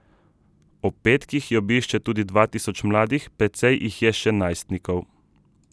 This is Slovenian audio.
Ob petkih jo obišče tudi dva tisoč mladih, precej jih je še najstnikov.